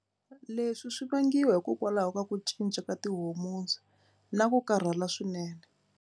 Leswi swi vangiwa hikokwalaho ka ku cinca ka ti-hormones na ku karhala swinene.